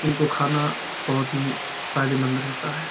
इनको खाना बहोत ही फायदेमंद रहता है।